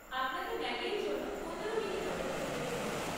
আপনাকে ম্যাগির জন্য পনেরো মিনিট অপেক্ষা করতে হবে।